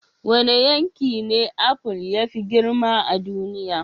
Wane yanki ne apple ya fi girma a duniya?